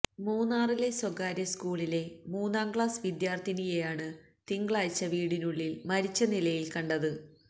മൂന്നാറിലെ സ്വകാര്യ സ്കൂളിലെ മൂന്നാം ക്ലാസ് വിദ്യാർത്ഥിനിയെയാണ് തിങ്കളാഴ്ച വീടിനുള്ളിൽ മരിച്ച നിലയിൽ കണ്ടത്